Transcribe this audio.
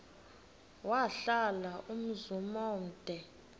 wahlala umzum omde